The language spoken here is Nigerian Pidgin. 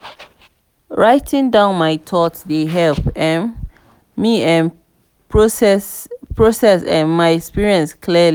writing down my thoughts dey help um me um process um my experiences clearly.